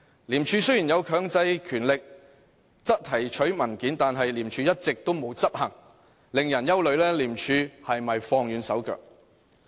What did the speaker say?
廉署雖有強制權力提取文件，但一直沒有執行，令人憂慮廉署是否放輕了手腳。